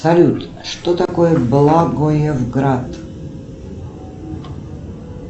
салют что такое благоевград